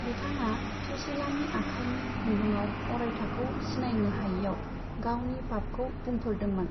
बिथाङा सुशीलानि आखाइनि खुन्दुङाव अरायथाखौ सिनायनो हायैआव गावनि पापखौ बुंफोरदोंमोन।